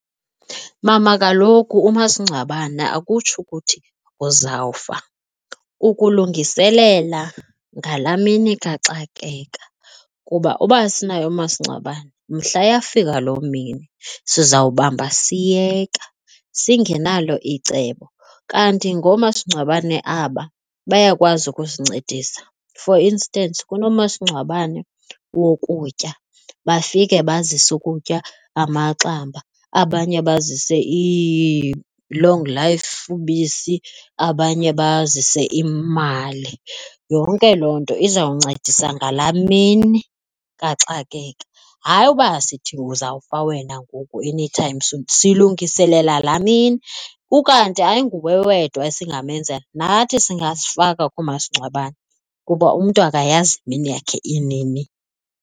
Mama, kaloku umasingcwabane akutsho ukuthi uzawufa. Ukulungiselela ngalaa mini kaxakeka kuba uba asinayo umasingcwabane mhla yafika loo mini sizawubamba siyeka singenalo icebo. Kanti ngoomasingcwabane aba bayakwazi usincedisa. For instance unomasingcwabane wokutya bafike bazise ukutya amaxamba abanye bazise ii-long life ubisi abanye bazise imali. Yonke loo nto izawuncedisa ngalaa mini kaxakeka hayi uba sithi uzawufa wena ngoku anytime soon. Silungiselela laa mini ukanti ayinguwe wedwa esingamenzela nathi singazifaka kumasingcwabane kuba umntu akayazi mini yakhe inini.